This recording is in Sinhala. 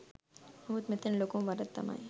නමුත් මෙතන ලොකුම වරද තමයි